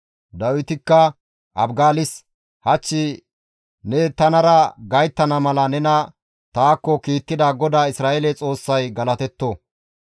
Dawitikka Abigaalis, «Hach ne tanara gayttana mala nena taakko kiittida GODAA Isra7eele Xoossay galatetto.